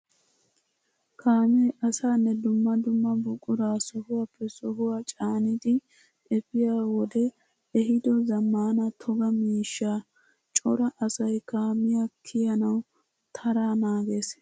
Kaame asaanne dumma dumma buqura sohuwappe sohuwa caaniddi efiya wode ehiido zamaana toga miishsha. Cora asay kaamiya kiyyanawu tara naages.